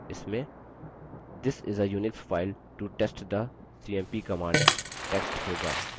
इसमें this is a unix file to test the cmp command text होगा